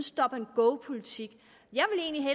stop and go politik